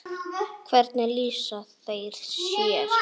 Hvernig lýsa þeir sér?